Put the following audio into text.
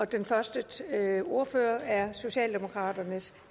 den første ordfører er socialdemokraternes